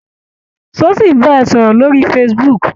Ṣé ó ṣì ń bá ẹ sọ̀rọ̀ lórí facebook?